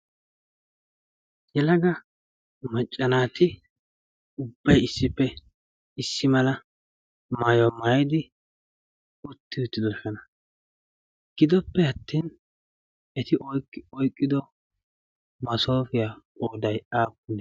Yelaga macca naati ubbay issippe issi mala maayyuwa maaytidi utti uttidoosona. Gidoppe attin eti oyqqido massofiya qooday aappunee?